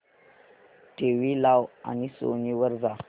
TV लाव आणि Sony वर जा